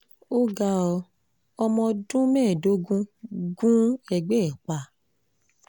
ó ga ọ́ ọmọ ọdún mẹ́ẹ̀ẹ́dógún gun ẹgbẹ́ ẹ̀ pa